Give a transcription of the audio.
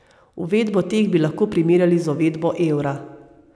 Uvedbo teh bi lahko primerjali z uvedbo evra.